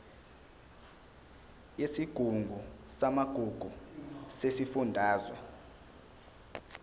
yesigungu samagugu sesifundazwe